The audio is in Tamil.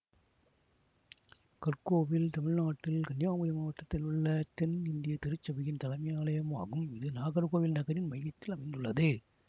கற்கோவில் தமிழ்நாட்டில் கன்னியாகுமரி மாவட்டத்தில் உள்ள தென் இந்திய திருச்சபையின் தலைமை ஆலயமாகும் இது நாகர்கோவில் நகரின் மையத்தில் அமைந்துள்ளது